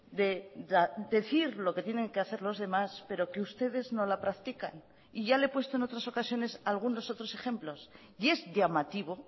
de decir lo que tienen que hacer los demás pero que ustedes no la practican y ya le he puesto en otras ocasiones algunos otros ejemplos y es llamativo